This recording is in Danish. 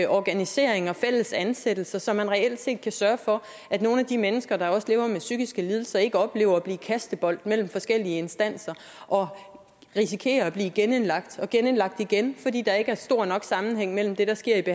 organisering og fælles ansættelser så man reelt set kan sørge for at nogle af de mennesker der lever med psykiske lidelser ikke oplever at blive kastebold mellem forskellige instanser og risikerer at blive genindlagt og genindlagt igen fordi der ikke er stor nok sammenhæng mellem det der sker